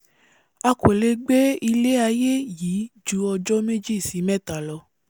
a kò lé gbé ilé-aiyé yìí ju ọjọ́ méjì sí mẹ́ta lọ